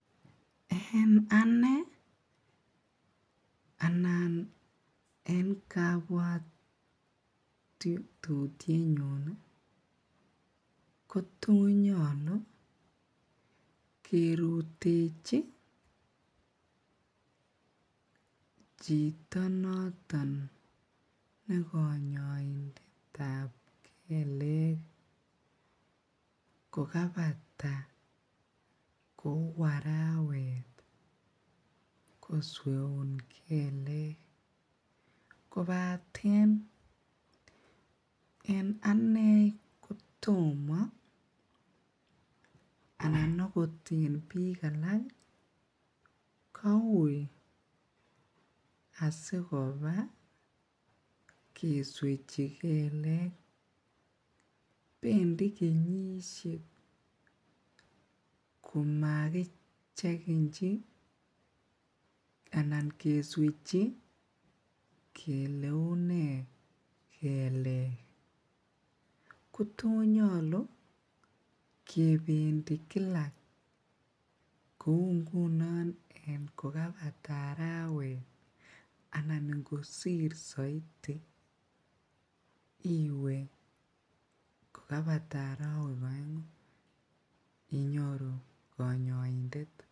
En ane anan en kabwatetutiet nyuun ih ko to nyalu kerutechi chito noton ne kanyaindetab kelek kokaibata kokabek arawet kosweun kelek kobaten en ane kotoma anan akot en bik alak ih kouui asikoba keswechi kelek bendi kenyisiek komagichegenchi anan keswechi kele unee kelek kotonyalu kebendi Kila kou ngunon kokaibata arawet anan ingosir saiti iwe kokaibata arawek aengu. Inyoru kanyaindet.